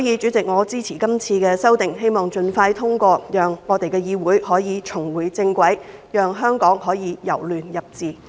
主席，我支持今次的修訂，希望這些修訂盡快獲得通過，讓議會可以重回正軌，讓香港可以由亂入治。